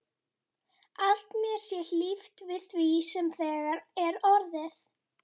Að mér sé hlíft við því sem þegar er orðið.